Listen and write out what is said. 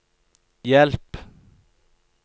hjelp